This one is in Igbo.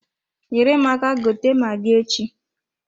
Nyere m aka gote magi echi.